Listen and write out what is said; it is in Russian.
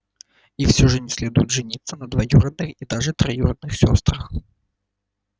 и все же не следует жениться на двоюродной и даже троюродных сёстрах